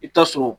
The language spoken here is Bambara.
I bɛ taa sɔrɔ